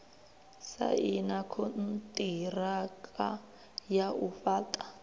saina konṱiraka ya u fhaṱa